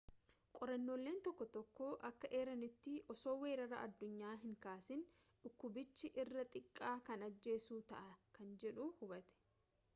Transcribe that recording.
qorrannooleen tokko tokko akka eeranitti osoo weeraraa addunyaa hin kaasin dhukkubichi irra xiqqaa kan ajjeessu ta'a kan jedhu hubate